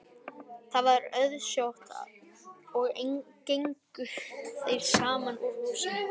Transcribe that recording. Það var auðsótt og gengu þeir saman úr húsinu.